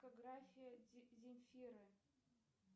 дискография земфиры